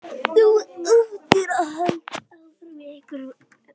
Þú áttir að halda áfram, í einhverjum öðrum.